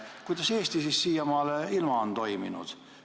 Kuidas siis Eesti siiamaani ilma on toiminud?